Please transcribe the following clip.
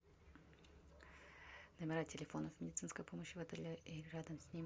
номера телефонов медицинской помощи в отеле и рядом с ним